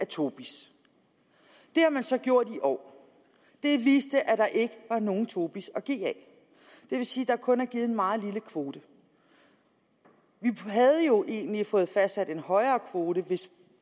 tobis det har man så gjort i år og det viste at der ikke var nogen tobis at give af det vil sige der kun er givet en meget lille kvote vi havde jo egentlig fået fastsat en højere kvote hvis